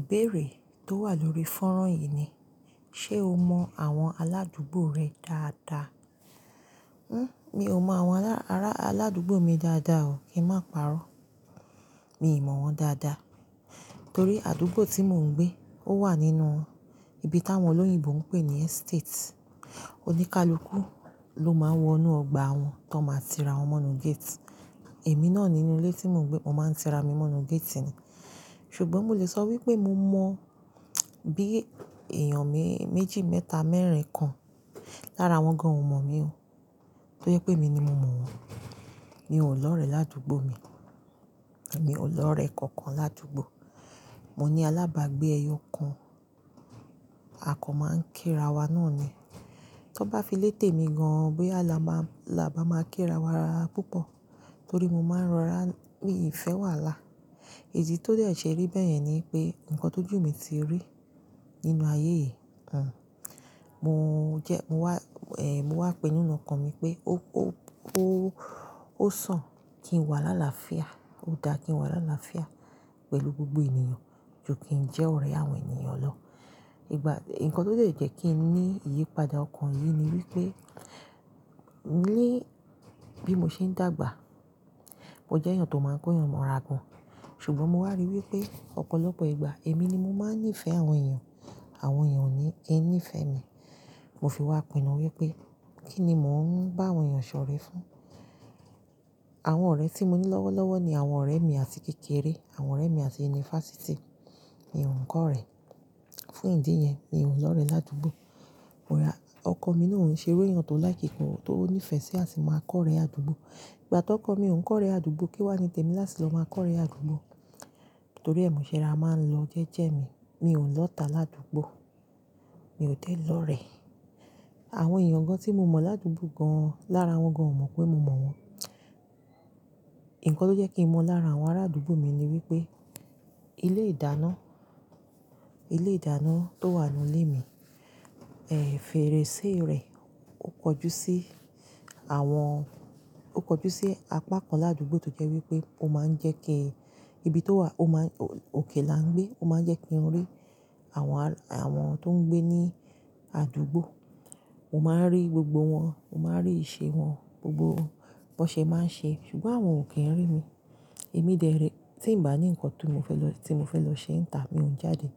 Ìbéèrè tó wà lórí fọ́nrán yìí ni, ṣe o mọ àwọn aládùúgbò rẹ dáadáa? Mi ò mọ àwọn aládùúgbò mi dáadáa o. Kí màá pàrọ́. Mi ò mọ̀ wọ́n dáadáa. Nítorí àdúgbò tí mò ń gbé ó wà nínú ibi táwọn olóyìnbo ń pè ní estate. Oníkálukú ló máa ń wọnú ọgbà wọn tó máa tira wọ́n maa nu gate. Èmi náà nínú ilé tí mò ń gbé, mo máa ń tira mi mọ́nu gate ni. Ṣùgbọ́n mò lè sọ wípé mo mọ bí èèyàn méjì, mẹ́ta, mẹ́ẹ̀rín kan lára wọn gan ò mọ̀ mi o. Tó jẹ pé emi ni mo mọ̀ wọ́n. Mi ò lọ̀rẹ́ ládùúgbò mi. Èmi ò lọ̀rẹ́ kankan ládùúgbò. Mo ní alábàágbé ẹyọ kan, a kan máa ń kírawa náà ni. Tó bá fi létè mi gan an bóyá la bá máa kírawa ara púpọ̀. Torí mo máa ń rọra, mi ò fẹ́ wàhálà. Idi tó dẹ̀ ṣe rí bẹ́ẹ̀ yẹn ni pé nǹkan tó jù mi ti rí nínú ayé yìí. Mo jẹ, mo wà, mo wà pinú ọkàn mi pé ó sàn kí n wà láàláfíà, ó dáa kí n wà láàláfíà pẹ̀lú gbogbo ènìyàn ju kí n jẹ́ ọ̀rẹ́ àwọn ènìyàn lọ. Ìgbà, ǹkan tó lè jẹ́ kí n ní ìyípadà ọkàn yìí ni wípé ní bí mo ṣe ń dàgbà, mo jẹ́ èèyàn tó máa ń kóyan, mò ragan. Ṣùgbọ́n mo wá rí wípé ọ̀pọ̀lọpọ̀ ìgbà èmi ni mo máa ń nífẹ̀ẹ́ àwọn èèyàn, àwọn èèyàn ò ní ẹ nífẹ̀ẹ́ mi. Mo fi wá pinnu wípé kí ni mò ń bá àwọn èèyàn ṣọ̀rẹ́ fún. Àwọn ọ̀rẹ́ tí mo ní lọ́wọ́lọ́wọ́ ni àwọn ọ̀rẹ́ mi àti kékeré, àwọn ọ̀rẹ́ mi àti yunifásítì. Mi ò ń kọ́rẹ́. Fún ìdí yẹn mi ò lọ̀rẹ́ ládùúgbò. Ọkọ mi náà ń ṣe irú èèyàn tó like but tó nífẹ̀ẹ́ sí àṣì máa kọ́rẹ́ àdúgbò. Ìgbà tó kọ́ mi oun kọ́rẹ́ àdúgbò kí wá ni tèmi láti lọ máa kọ́rẹ́ àdúgbò. Torí è moṣe rorá máa ń lọ jẹ́jẹ́ mi. Mi ò lọ́ta ládùúgbò. Mi ò dẹ̀ lọ̀rẹ́. Àwọn èèyàn gan tí mo mọ̀ ládùúgbò gan lára wọn gan ò mọ̀ pé mo maa wọ́n. Ǹkan ló jẹ́ kí mo lára àwọn ará àdúgbò mi ni wípé ilé ìdáná, ilé ìdáná tó wà nínú ilé mi, fèrèsé rẹ̀ ó kojú sí àwọn, ó kojú sí apá kan ládùúgbò tó jẹ́ wípé ó máa ń jẹ́ kí ibi tó wà, ó máa, òkè la ń gbé, ó máa ń jẹ́ kí n rí àwọn tó ń gbé ní àdúgbò. Mo máa ń rí gbogbo wọn, mo máa ń rí ìṣe wọn gbogbo bó ṣe máa ń ṣe. Ṣùgbọ́n àwọn ò kí ń rí mi. Èmi dẹ̀rẹ̀, tí ń bá ní ǹkan tó mo fẹ́ lọ ṣe ń tà mi ò ń jáde.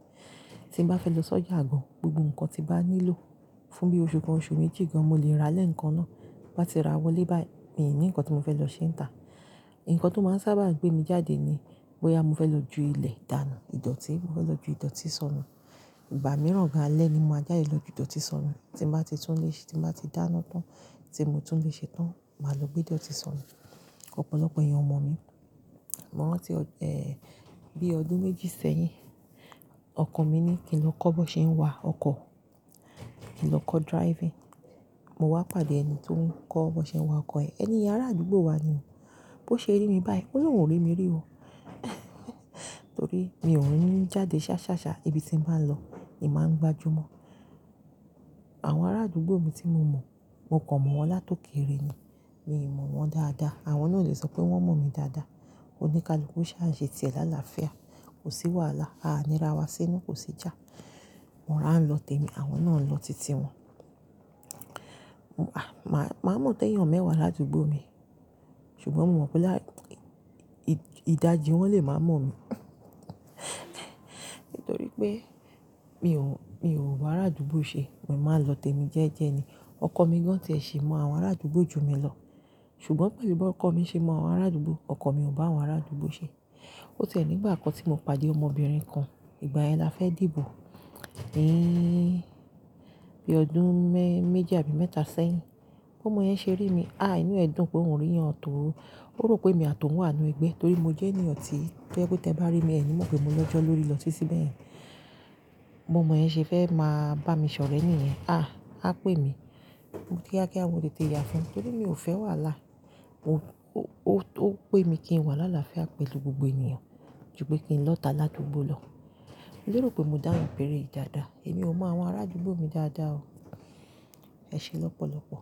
Tí ń bá fẹ́ lọ sọ́jà gan, gbogbo ǹkan tí bá nílò fún bí oṣù kan, oṣù méjì gan mo lè ra lẹ́ǹkan náà. Bá ti ra wọlé báyìí, mi ò ní ǹkan tó mo fẹ́ lọ ṣe ń tà. Ǹkan tó máa ń sábà gbé mi jáde ni bóyá mo fẹ́ lọ ju ilé ìdánu, ìdọ̀tí, mo fẹ́ lọ ju ìdọ̀tí sọnù. Ìgbà mìíràn gan alẹ́ ni mo máa jáde lọ ju ìdọ̀tí sọnù. Tí mo bá ti tún lè ṣe, tí mo bá ti dáná tán, tí mo tún lè ṣe tán, màá lọ gbé ìdọ̀tí sọnù. Ọ̀pọ̀lọpọ̀ èèyàn ọma mi. Mo rántí, bí ọdún méjì sẹ́yìn ọkọ mi ní kí n lọ kọ́ bó ṣe ń wa ọkọ̀. Kí n lọ kọ́ driving. Mo wá pàdé ẹni tó ń kọ́ bó ṣe ń wa ọkọ̀ ẹ. Ẹni ará àdúgbò wa ni. Bó ṣe rí mi báyìí ó lóun rí mi rí o. Torí mi òuń jáde ṣáṣáṣá ibi tí mo bá lọ, èmi máa ń gbájú mọ́. Àwọn ará àdúgbò mi tí mo mọ̀, mo kàn mọ̀ wọ́n látòkéere ni. Mi ò mọ̀ wọ́n dáadáa. Àwọn náà o lè sọ pé wọ́n mọ̀ mi dáadáa. Oníkálukú ṣá ń ṣe tiẹ̀ láàláfíà. Kò sí wàhálà. A á nira wa sínú, kò sí jà. Mo rà ń lọ tèmi, àwọn náà ń lọ titi wọn. Maa mọ̀ té èèyàn mẹ́wàá ládùúgbò mi. Ṣùgbọ́n mo mọ̀ pé ìdajì wọ́n lè máa mọ̀ mi. Nítorí pé mi ò wá bará àdúgbò ṣe. Èmi máa ń lọ tèmi jẹ́ẹ́jẹ́ ni. Ọkọ mi gan tẹẹ ṣe mọ àwọn ará àdúgbò ju mi lọ. Ṣùgbọ́n pẹ̀lú bí ọkọ mi ṣe mọ àwọn ará àdúgbò, ọkọ mi ò bá àwọn ará àdúgbò ṣe. Ó tẹ́lẹ̀ nígbà kan tí mo pàdé ọmọbìnrin kan. Ìgbà yẹn la fẹ́ dìbò. Bí ọdún mẹ́ méjì àbí mẹ́ta sẹ́yìn. Bó mo yẹn ṣe rí mi, inú ẹ̀ dùn pé òun rí èèyàn tó ó rò pé mi àtún wà nínú ẹgbẹ́. Torí mo jẹ́ èèyàn tí tó ẹni pé tí ẹ bá rí mi, ẹ ní mo pé mo lọ́jọ́ lórí lọ títi bẹ̀ yẹn. Bó omo yẹn ṣe fẹ́ máa bá mi ṣọ̀rẹ́ nìyẹn. A pé mi. Mo kiakia mo tèèyà fún un. Torí mi ò fẹ́ wàhálà. Ó pé mi kí n wà láàláfíà pẹ̀lú gbogbo ènìyàn ju pé kí n lọ́ta ládùúgbò lọ. Mo rò pé mo dá ìbéèrè yìí dáadáa. Èmi ò mọ àwọn ará àdúgbò mi dáadáa o. Ẹ ṣe lọ́pọ̀lọpọ̀.